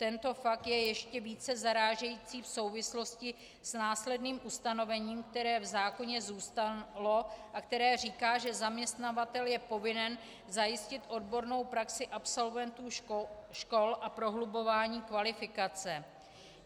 Tento fakt je ještě více zarážející v souvislosti s následným ustanovením, které v zákoně zůstalo a které říká, že zaměstnavatel je povinen zajistit odbornou praxi absolventů škol a prohlubování kvalifikace.